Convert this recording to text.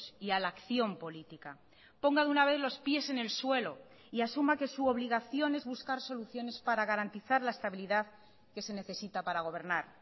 y a la acción política ponga de una vez los pies en el suelo y asuma que su obligación es buscar soluciones para garantizar la estabilidad que se necesita para gobernar